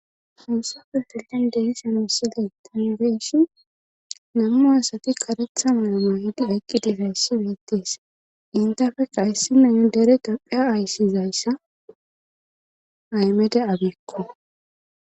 hunsapfe felen denshan wussiley tanbeshi nammu asati karetha muoma yidi eqqi difeyssi weettees intafeka issinayne dere daphiya ayssizayssa aymede abekko